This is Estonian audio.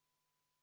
Aitäh!